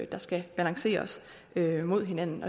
der skal balanceres af mod hinanden